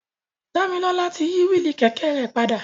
Damilola ti yi willi kẹkẹ rẹ pada.